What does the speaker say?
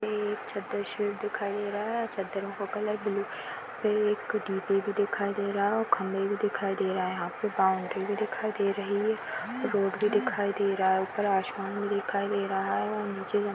ये एक चद्दर शेड दिखाई दे रहा है चद्दरों का कलर ब्लू वे एक डिबे भी दिखाई दे रहा है और खंबे भी दिखाई दे रहा है। यहाँ पर बाउंड्री भी दिखाई दे रही है रोड भी दिखाई दे रहा है उपर आसमान भी दिखाई दे रहा है और नीचे जमीन--